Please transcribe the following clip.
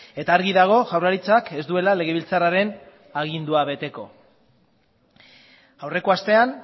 eta argi dago jaurlaritzak ez duela legebiltzarraren agindua beteko aurreko astean